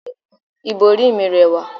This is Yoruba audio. ibori mi rẹwa